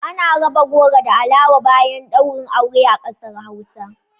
Ana raba goro da alawa bayan ɗaurin aure a kasar Hausa